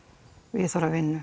viðhorf við vinnu